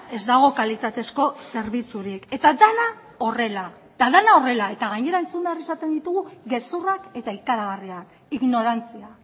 ez dago kalitatezkoa zerbitzurik eta dena horrela eta gainera entzun behar izaten ditugu gezurrak eta ikaragarriak ignorantzia